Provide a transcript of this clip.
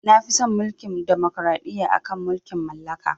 Nafi son Mulkin demokraɗiyya akan mulkin mallaka.